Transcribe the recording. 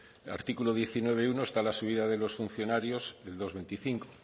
el artículo diecinueve punto uno está la subida de los funcionarios del dos coma veinticinco